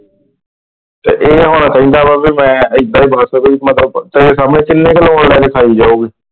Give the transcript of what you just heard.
ਤੇ ਹੁਣ ਕਹਿੰਦਾ ਵ ਬਈ ਮੈਂ ਇਧਰ ,